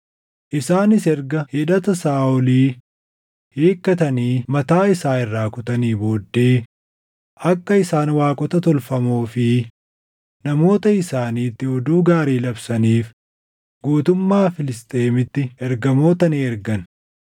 Isaanis erga hidhata Saaʼolii hiikkatanii mataa isaan irraa kutanii booddee akka isaan waaqota tolfamoo fi namoota isaaniitti oduu gaarii labsaniif guutummaa Filisxeemiitti ergamoota ni ergan.